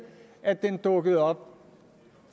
at den dukkede op